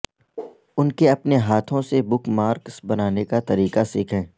ان کے اپنے ہاتھوں سے بک مارکس بنانے کا طریقہ سیکھیں